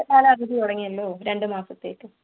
വേനൽ കാലം അവധി തുടങ്ങിയല്ലോ, രണ്ട് മാസത്തേക്ക്.